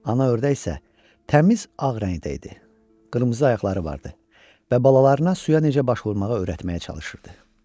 Ana ördək isə təmiz ağ rəngdə idi, qırmızı ayaqları vardı və balalarına suya necə baş vurmağı öyrətməyə çalışırdı.